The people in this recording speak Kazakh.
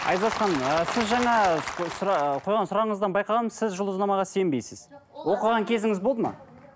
айзат ханым ыыы сіз жаңа қойған сұрағыңыздан байқағаным сіз жұлдызнамаға сенбейсіз оқыған кезіңіз болды ма